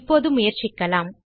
இப்போது முயற்சிக்கலாம்